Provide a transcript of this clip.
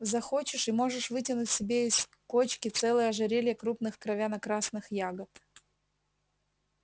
захочешь и можешь вытянуть себе из кочки целое ожерелье крупных кровяно-красных ягод